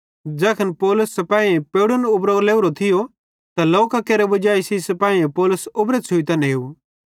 ज़ैखन पौलुस सिपाहीयेइं पेवड़न उबरो च़लेवरो थियो त लोकां केरे वजाई सेइं सिपाहीयेइं पौलुस उबरो छ़ुइतां नेव